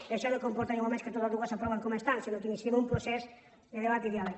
i això no comporta ni molt menys que totes dues s’aprovin com estan sinó que iniciem un procés de debat i diàleg